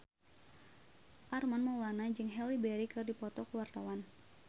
Armand Maulana jeung Halle Berry keur dipoto ku wartawan